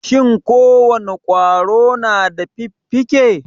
Shin ko wane ƙwaro na da fiffike?